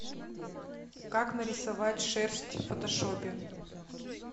как нарисовать шерсть в фотошопе